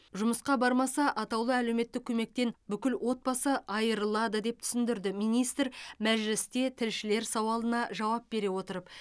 жұмысқа бармаса атаулы әлеуметтік көмектен бүкіл отбасы айырылады деп түсіндірді министр мәжілісте тілшілер сауалына жауап бере отырып